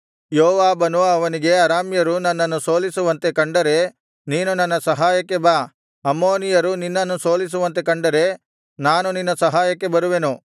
ಯೋವಾಬನು ಅವನಿಗೆ ಅರಾಮ್ಯರು ನನ್ನನ್ನು ಸೋಲಿಸುವಂತೆ ಕಂಡರೆ ನೀನು ನನ್ನ ಸಹಾಯಕ್ಕೆ ಬಾ ಅಮ್ಮೋನಿಯರು ನಿನ್ನನ್ನು ಸೋಲಿಸುವಂತೆ ಕಂಡರೆ ನಾನು ನಿನ್ನ ಸಹಾಯಕ್ಕೆ ಬರುವೆನು